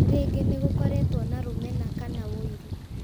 Rĩngĩ nĩ gũkoretwo na rũmena kana wũiru